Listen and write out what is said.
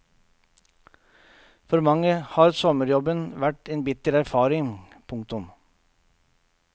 For mange har sommerjobben vært en bitter erfaring. punktum